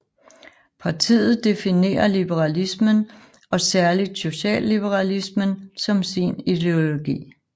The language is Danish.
Partiet definerer liberalismen og særligt socialliberalismen som sin ideologi